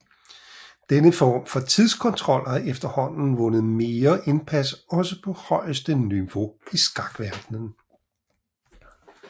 Denne form for tidskontrol har efterhånden vundet mere indpas også på højeste niveau i skakverdenen